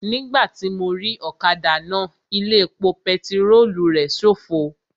Nígbàtí mo rí ọ̀kadà náà, ilé epo pẹtirólù rẹ̀ ṣófo